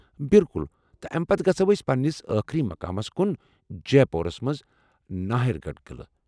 بِلكُل ، تہٕ امہ پتہ گژھو أسۍ پنٛنس ٲخری مقامس كُن ، جیپورس منز ناہر گڈھ قعلہٕ ۔